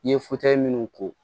N ye minnu ko